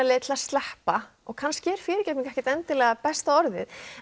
leið til að sleppa og kannski er fyrirgefning ekki endilega besta orðið